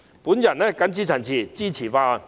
我謹此陳辭，支持《條例草案》。